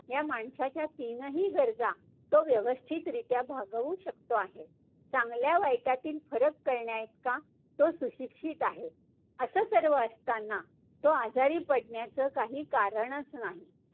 ह्या माणसाच्या तीनही गरजा, तो व्यवस्थितरीत्या भागवू शकतो आहे. चांगल्या वाईटातील फरक कळण्याइतका, तो सुशिक्षित आहे. असं सर्व असताना तो आजारी पाडण्याचं काहीही कारणच नाही.